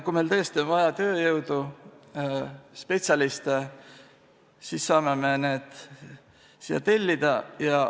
Kui meil tõesti on vaja tööjõudu, spetsialiste, siis me saame need siia tellida.